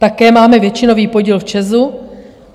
Také máme většinový podíl v ČEZu.